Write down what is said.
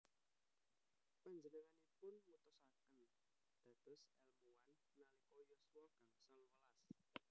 Panjenenganipun mutusaken dados èlmuwan nalika yuswa gangsal welas